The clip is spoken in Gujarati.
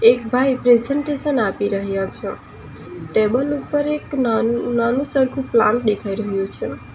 એક ભાઈ પ્રેઝન્ટેશન આપી રહ્યા છે ટેબલ ઉપર એક નાનું નાનું સરખું પ્લાન્ટ દેખાઈ રહ્યું છે.